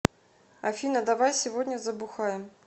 афина давай сегодня забухаем